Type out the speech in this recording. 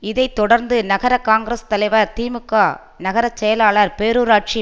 இதை தொடர்ந்து நகர காங்கிரஸ் தலைவர் திமுக நகர செயலாளர் பேரூராட்சி